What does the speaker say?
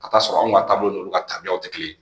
Ka taa sɔrɔ anw ka taabolo ninnu ka tabiyaw tɛ kelen ye